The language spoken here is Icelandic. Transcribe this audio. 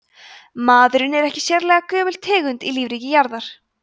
maðurinn er ekki sérlega gömul tegund í lífríki jarðar